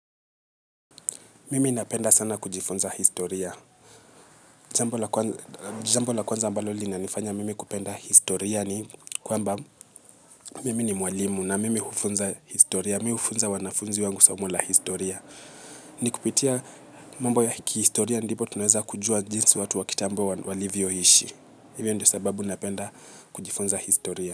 Mimi napenda sana kujifunza historia jambo la kwanza ambalo linanifanya mimi kupenda historia ni kwamba mimi ni mwalimu na mimi hufunza historia. Mimi hufunza wanafunzi wangu somo la historia. Ni kupitia mambo ya kihistoria ndipo tunaweza kujua jinsi watu wa kitambo walivyo ishi. Ivo ndio sababu napenda kujifunza historia.